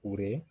U bɛ